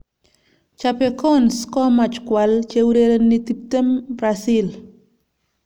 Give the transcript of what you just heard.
Chapecoense komach kwal cheurereni 20 Brazil.